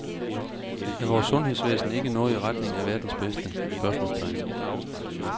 Er vores sundhedsvæsen ikke noget i retning af verdens bedste? spørgsmålstegn